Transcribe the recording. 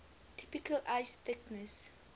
typical ice thickness